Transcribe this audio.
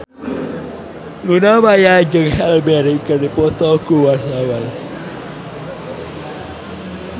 Luna Maya jeung Halle Berry keur dipoto ku wartawan